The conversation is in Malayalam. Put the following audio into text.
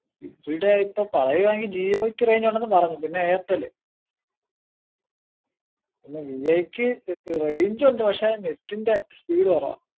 ഇവിടെ ഇപ്പൊ പറയുവാ ണെങ്കി ജിയോയ്ക്ക് range ഉണ്ടെന്നു പറഞ്ഞു പിന്നെ എയർടെൽ പിന്നെ ജിയോക്ക് range ഉണ്ട് പക്ഷെ net ൻ്റെ speed കൊറവാ